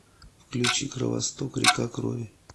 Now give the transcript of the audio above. включи кровосток река крови